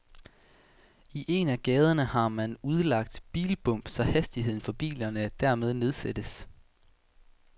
I en af gaderne har man udlagt bilbump, så hastigheden for biler dermed nedsættes.